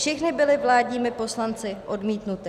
Všechny byly vládními poslanci odmítnuty.